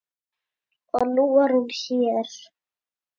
Og nú er hún hér.